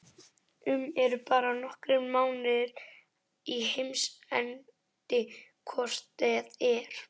um eru bara nokkrir mánuðir í heimsendi hvort eð er.